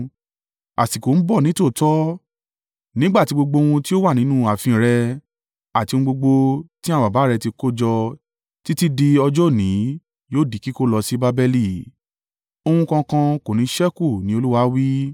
Àsìkò ń bọ̀ nítòótọ́ nígbà tí gbogbo ohun tí ó wà nínú ààfin rẹ, àti ohun gbogbo tí àwọn baba rẹ ti kójọ títí di ọjọ́ òní yóò di kíkó lọ sí Babeli. Ohun kankan kò ní ṣẹ́kù ni Olúwa wí.